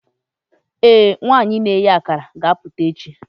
ee, nwanyị na-eghe akara ga-apụta echi.